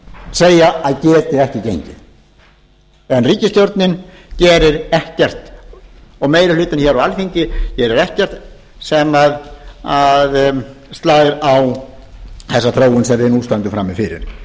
segja að geti ekki gengið en ríkisstjórnin gerir ekkert og meiri hlutinn hér á alþingi gerir ekkert sem slær á þessa þróun sem við nú stöndum frammi fyrir